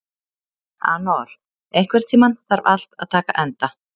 Anor, einhvern tímann þarf allt að taka enda.